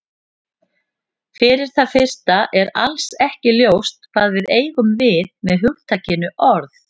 Fyrir það fyrsta er alls ekki ljóst hvað við eigum við með hugtakinu orð.